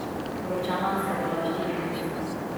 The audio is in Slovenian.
Poročena sva bila štiri mesece.